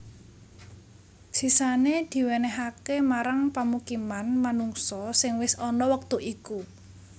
Sisané diwènèhaké marang pamukiman manungsa sing wis ana wektu iku